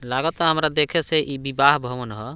लागता हमरा देखे से ई विवाह भवन ह।